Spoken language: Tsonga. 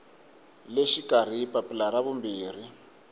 le xikarhi papila ra vumbirhi